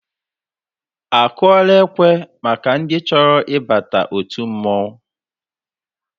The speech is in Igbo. Akụọla ekwe maka ndị chọrọ ịba òtù mmọnwụ?